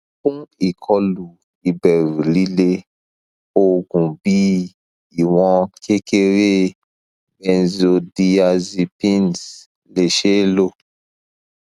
fun ikolu iberu lile oogun bi iwon kekere benzodiazepines le se lo